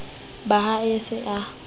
ba ha a se a